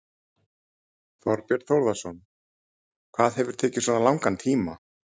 Þorbjörn Þórðarson: Hvað hefur tekið svona langan tíma?